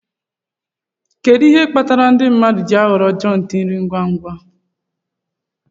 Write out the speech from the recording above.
Kedu ihe kpatara ndị mmadụ ji ahọrọ jòintí nri ngwa ngwa